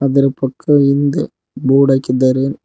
ಇದರ ಪಕ್ಕದ ಹಿಂದೆ ಬೋರ್ಡ ಹಾಕಿದ್ದಾರೆ.